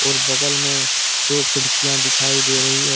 बगल में दो खिड़कियां दिखाई दे रही है।